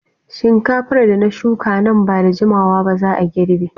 Shinkafar da na shuka nan ba da jimawa ba za a girbe.